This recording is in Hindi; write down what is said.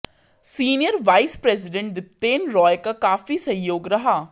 senior vice president Dipten Roy का काफी सहयोग रहा